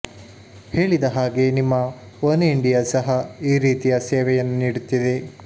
ಹೇಳಿದ ಹಾಗೇ ನಿಮ್ಮ ಒನ್ ಇಂಡಿಯಾ ಸಹ ಈ ರೀತಿಯ ಸೇವೆಯನ್ನು ನೀಡುತ್ತಿದೆ